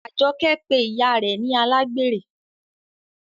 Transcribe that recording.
Ajoke pe ìyá rẹ ni alágbèrè.